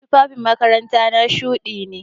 Tufafin makarantana shuɗi ne.